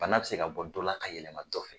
Bana bɛ se ka bɔ dɔ la ka yɛlɛma dɔ fɛ.